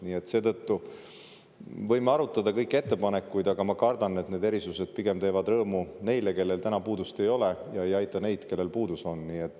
Nii et me võime arutada kõiki ettepanekuid, aga ma kardan, et need erisused pigem teevad rõõmu neile, kellel täna puudust ei ole, ja ei aita neid, kellel puudus on.